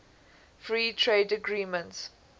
free trade agreements